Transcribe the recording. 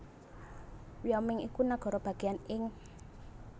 Wyoming iku nagara bagéyan ing